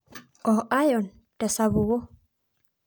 o iron tesapuko.